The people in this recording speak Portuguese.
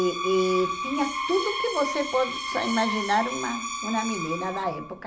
E e tinha tudo que você possa imaginar uma uma menina da época.